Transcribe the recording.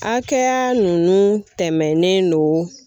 Akɛya nunnu tɛmɛnen don.